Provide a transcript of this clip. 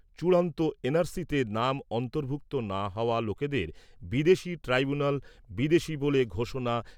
চূড়ান্ত N R সিতে নাম অন্তর্ভুক্ত না হওয়া লোকেদের বিদেশী ট্রাইব্যুনেল বিদেশী বলে ঘোষণা